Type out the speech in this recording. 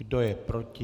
Kdo je proti?